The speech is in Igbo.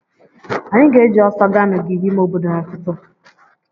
Anyị ga-eji ọsọ ga n'ogige ime obodo n'ụtụtụ.